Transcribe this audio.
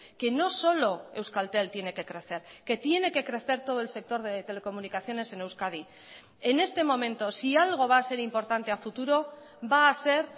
que no solo euskaltel tiene que crecer que tiene que crecer todo el sector de telecomunicaciones en euskadi en este momento si algo va a ser importante a futuro va a ser